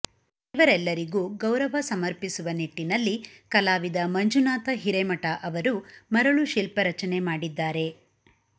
ಇವರೆಲ್ಲರಿಗೂ ಗೌರವ ಸಮರ್ಪಿಸುವ ನಿಟ್ಟಿನಲ್ಲಿ ಕಲಾವಿದ ಮಂಜುನಾಥ ಹಿರೇಮಠ ಅವರು ಮರಳು ಶಿಲ್ಪ ರಚನೆ ಮಾಡಿದ್ದಾರೆ